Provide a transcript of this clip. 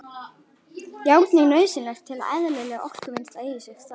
Járn er nauðsynlegt til að eðlilegt orkuvinnsla eigi sér stað.